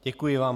Děkuji vám.